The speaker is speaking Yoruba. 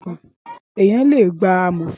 Éniyán lé gbá àmófín